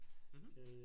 Mh